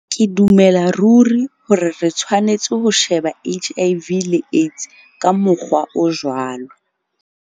Ke dumela ruri hore re tshwanetse ho sheba HIV le AIDS ka mokgwa o jwalo.